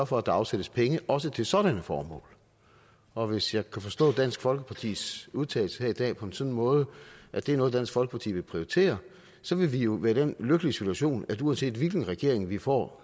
for at der afsættes penge også til sådanne formål og hvis jeg kan forstå dansk folkepartis udtalelser her i dag på en sådan måde at det er noget dansk folkeparti vil prioritere så vil vi jo være i den lykkelige situation at uanset hvilken regering vi får